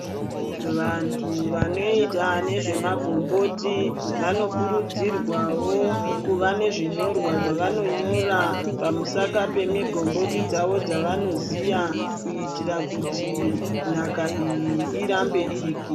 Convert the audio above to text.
Vantu vanoita nezvemagomboti vanokurudzirwawo kuva nezvevanonyora pamusaka pemigomboti dzavo dzavanoziya kuitira kuti nhaka iyi irambe iripo.